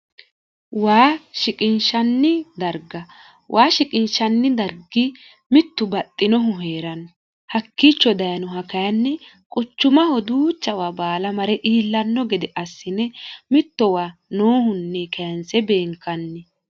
waa shiqinshanni darga waa shiqinshanni dargi mittu baxxinohu hee'ranno hakkiicho dayinoha kayinni quchumaho duuchawa baala mare iillanno gede assine mittowa noohunni keense beenkanni